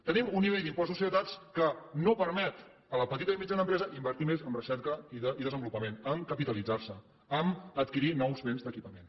tenim un nivell d’impost de societats que no permet a la petita i mitjana empresa invertir més en recerca i desenvolupament a capitalitzar se a adquirir nous béns d’equipament